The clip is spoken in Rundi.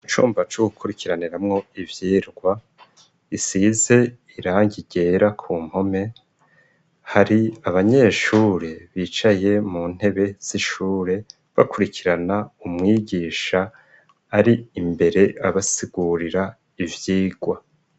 Icumba co gukurikiraniramwo ivyigwa, gisize irangi ryera ku mpome, hari abanyeshure bicaye mu ntebe z'ishure bakurikirana umwigisha ari imbere, abasigurira ivyigwa.